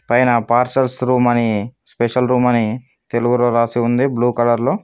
పైన pastors room అని special room అని తెలుగులో రాసి ఉంది బ్లూ కలర్ లో.